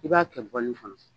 I b'a kɛ bɔlini fana